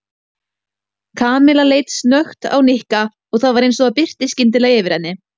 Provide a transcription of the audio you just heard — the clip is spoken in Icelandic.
Kamilla leit snöggt á Nikka og það var eins og birti skyndilega yfir henni.